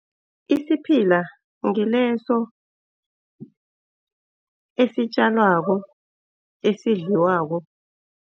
Isiphila ngileso esitjalwako esidliwako.